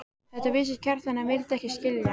Þetta vissi Kjartan en vildi ekki skilja.